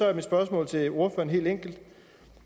er mit spørgsmål til ordføreren helt enkelt